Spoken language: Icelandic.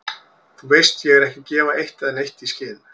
Þú veist ég er ekki að gefa eitt né neitt í skyn.